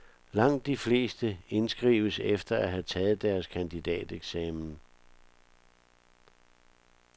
Langt de fleste indskrives efter at have taget deres kandidateksamen.